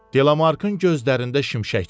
Delamarkın gözlərində şimşək çaxdı.